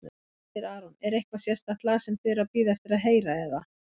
Hersir Aron: Er eitthvað sérstakt lag sem þið eruð að bíða eftir að heyra eða?